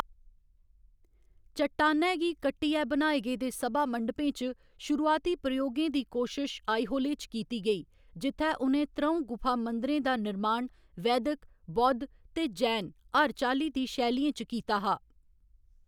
चट्टानै गी कट्टियै बनाए गेदे सभामंडपें च शुरूआती प्रयोगें दी कोशश आईहोले च कीती गेई, जित्थै उ'नें त्र'ऊं गुफा मंदिरें दा निर्माण वैदिक, बौद्ध ते जैन हर चाल्ली दी शैलियें च कीता हा।